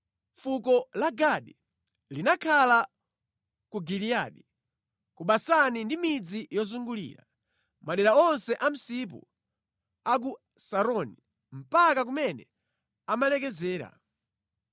Fuko la Gadi linakhala ku Giliyadi, ku Basani ndi midzi yozugulira, madera onse a msipu a ku Saroni mpaka kumene amalekezera.